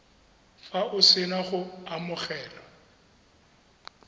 fa o sena go amogela